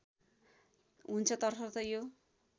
हुन्छ तसर्थ यो